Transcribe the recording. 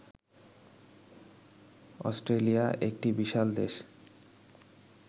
Australia একটি বিশাল দেশ